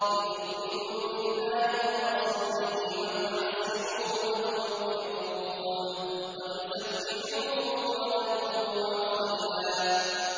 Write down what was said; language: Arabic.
لِّتُؤْمِنُوا بِاللَّهِ وَرَسُولِهِ وَتُعَزِّرُوهُ وَتُوَقِّرُوهُ وَتُسَبِّحُوهُ بُكْرَةً وَأَصِيلًا